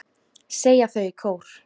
segja þau í kór.